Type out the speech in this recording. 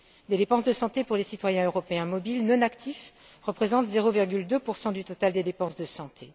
Les dépenses de santé pour les citoyens européens mobiles non actifs représentent 0,2 du total des dépenses de santé.